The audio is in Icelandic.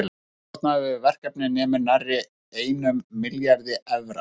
Heildarkostnaður við verkefnið nemur nærri einum milljarði evra.